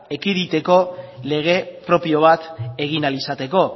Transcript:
ekiditeko lege propio bat egin ahal izateko